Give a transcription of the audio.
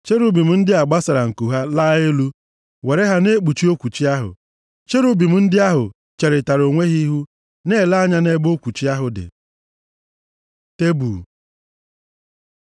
Cherubim ndị a gbasara nku ha laa elu, were ha na-ekpuchi okwuchi ahụ. Cherubim ndị ahụ cherịtara onwe ha ihu, na-ele anya nʼebe okwuchi ahụ dị. Tebul